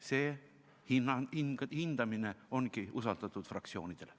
See hindamine ongi usaldatud fraktsioonidele.